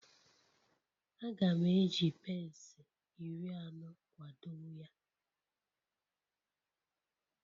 Aga m eji pence iri anọ kwado ya